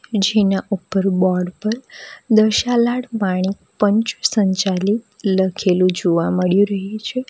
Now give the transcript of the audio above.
જેના ઉપર બોર્ડ પર દશાલાડ વાણી પંચ સંચાલિત લખેલું જોવા મળ્યું રહ્યું છે.